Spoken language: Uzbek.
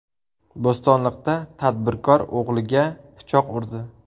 Bo‘stonliqda tadbirkor o‘g‘liga pichoq urdi.